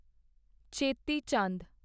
ਛੇਤੀ ਚੰਦ